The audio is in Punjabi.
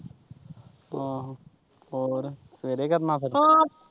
ਅਹ ਹੋਰ ਸਵੇਰੇ ਕਰਨਾ ਫੇਰ।